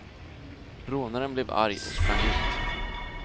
Rånaren blev arg och sprang ut.